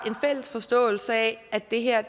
en fælles forståelse af at det her